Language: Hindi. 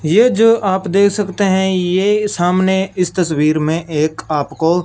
ये जो आप दे सकते है ये सामने इस तस्वीर में एक आपको--